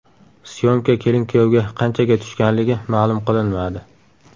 Syomka kelin-kuyovga qanchaga tushganligi ma’lum qilinmadi.